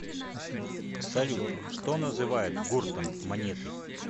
салют что называют гуртом монеты